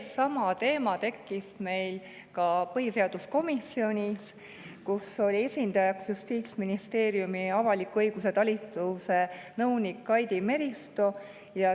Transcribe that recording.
Seesama teema tekkis meil ka põhiseaduskomisjoni, kus esindajatest oli Justiitsministeeriumi avaliku õiguse talituse nõunik Kaidi Meristo.